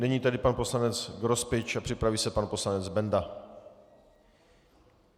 Nyní tedy pan poslanec Grospič a připraví se pan poslanec Benda.